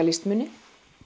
listmuni